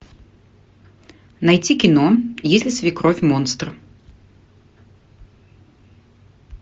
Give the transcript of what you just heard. найти кино если свекровь монстр